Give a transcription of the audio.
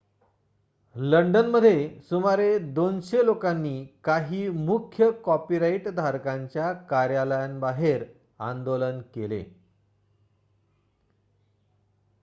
लंडनमध्ये सुमारे २०० लोकांनी काही मुख्य कॉपीराइट धारकांच्या कार्यालयांबाहेर आंदोलन केले